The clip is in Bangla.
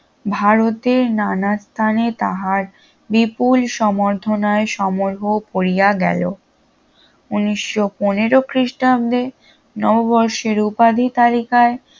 ভারতের নানা স্থানে তাহার বিপুল সম্বর্ধনায় সমারোহ পড়িয়া গেল উনিশশো পনেরো খ্রিস্টাব্দে নববর্ষের উপাধি তালিকায়